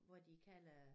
Hvor de kan lade